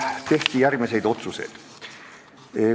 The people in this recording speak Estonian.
Tehti järgmised otsused.